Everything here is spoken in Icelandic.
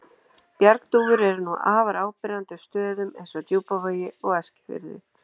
Bjargdúfur eru nú afar áberandi á stöðum eins og Djúpavogi og Eskifirði.